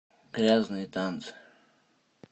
грязные танцы